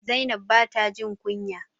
Zainab ba ta jin kunya.